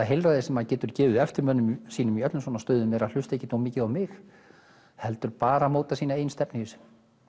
heilræði sem maður getur gefið eftirmönnum sínum í öllum svona stöðum er að hlusta ekki of mikið á mig heldur bara móta sína eigin stefnu í þessu